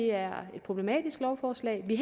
er et problematisk lovforslag vi